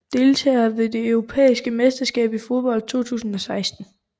Deltagere ved det europæiske mesterskab i fodbold 2016